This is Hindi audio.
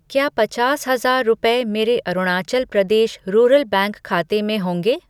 क्या पचास हजार रुपये मेरे अरुणाचल प्रदेश रूरल बैंक खाते में होंगे?